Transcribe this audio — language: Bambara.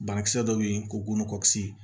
Banakisɛ dɔ be yen ko gosi